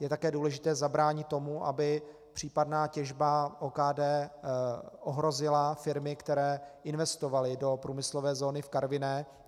Je také důležité zabránit tomu, aby případná těžba OKD ohrozila firmy, které investovaly do průmyslové zóny v Karviné.